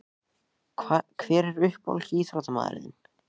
Hver er uppáhalds ÍÞRÓTTAMAÐURINN þinn?